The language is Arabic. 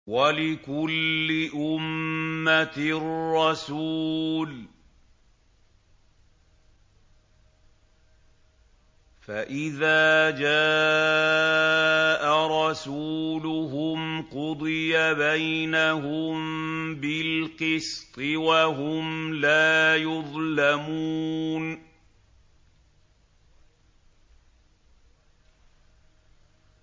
وَلِكُلِّ أُمَّةٍ رَّسُولٌ ۖ فَإِذَا جَاءَ رَسُولُهُمْ قُضِيَ بَيْنَهُم بِالْقِسْطِ وَهُمْ لَا يُظْلَمُونَ